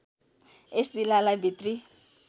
यस जिल्लालाई भित्री